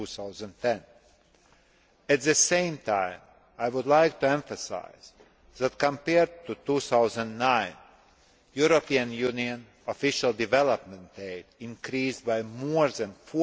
2010. At the same time, I would like to emphasise that, compared to 2009, European Union official development aid increased by more than EUR